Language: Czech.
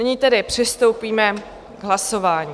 Nyní tedy přistoupíme k hlasování.